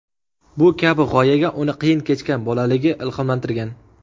Bu kabi g‘oyaga uni qiyin kechgan bolaligi ilhomlantirgan.